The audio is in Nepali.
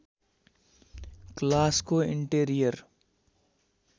क्लासको इन्टेरियर